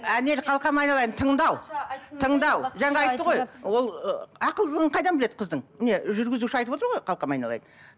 анель қалқам айналайын тыңдау тыңдау жаңа айтты ғой ол ы ақылдылығын қайдан біледі қыздың міне жүргізуші айтып отыр ғой қалқам айналайын